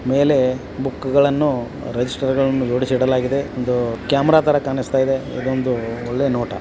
ಮೇಲೆ ಬುಕ್ಕುಗಳನ್ನು ರಿಜಿಸ್ಟರ್ ಗಳನು ಜೋಡಿಸಿಡಲಾಗಿದೆ ಒಂದು ಕ್ಯಾಮರಾ ತರ ಕಾನಿಸ್ತಾಇದೆ ಇದೊಂದು ಒಳ್ಳೆಯ ನೋಟ.